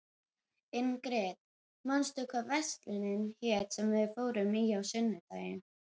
Ingrid, manstu hvað verslunin hét sem við fórum í á sunnudaginn?